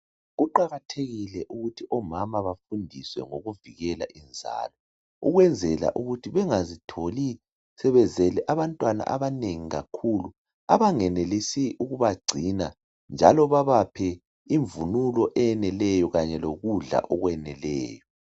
Kuqakathekile ukuthi omama bafundiswe ukuvikela inzalo .Ukwenzela ukuthi bengazitholi sebezele abantwana abanengi kakhulu . Abangenelisi ukubagcina njalo babaphe imvunulo eyeneleyo. Kanye lokudla okweneleyo